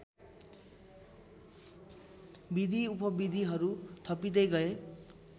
विधिउपविधिहरू थपिँदै गए